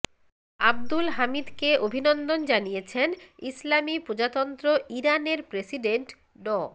আব্দুল হামিদকে অভিনন্দন জানিয়েছেন ইসলামি প্রজাতন্ত্র ইরানের প্রেসিডেন্ট ড